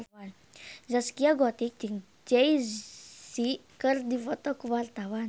Zaskia Gotik jeung Jay Z keur dipoto ku wartawan